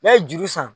N'a ye juru san